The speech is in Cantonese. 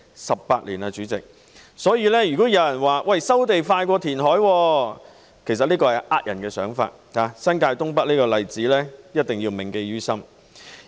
代理主席 ，18 年已過去，如果有人說收地較填海快，只是騙人的說法，新界東北這例子一定要銘記於心。